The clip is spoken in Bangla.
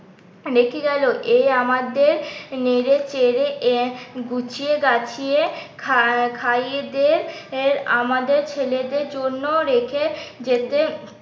রেখে গেলো এই আমাদের নেড়েচড়ে এক গুছিয়ে গাছিয়ে খা খাইয়ে দের আমাদের ছেলেদের জন্য রেখে যেতে